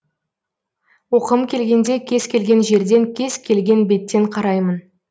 оқығым келгенде кез келген жерден кез келген беттен қараймын